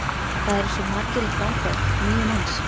Það eru svo margir í framboði, níu manns?